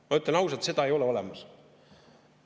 Ma ütlen ausalt, seda ei ole olemas.